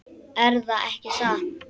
Erða ekki satt?